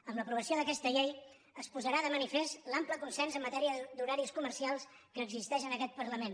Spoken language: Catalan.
amb l’aprovació d’aquesta llei es posarà de manifest l’ample consens en matèria d’horaris comercials que existeix en aquest parlament